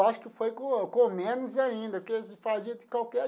Acho que foi com com menos ainda que eles fazia de qualquer.